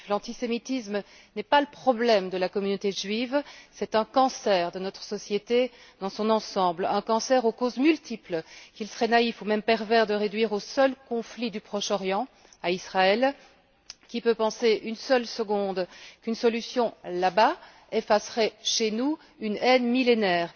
L'antisémitisme n'est pas le problème de la communauté juive, c'est un cancer de notre société dans son ensemble, un cancer aux causes multiples qu'il serait naïf ou même pervers de réduire au seul conflit du Proche Orient, à Israël qui peut penser une seule seconde qu'une solution là bas effacerait chez nous une haine millénaire?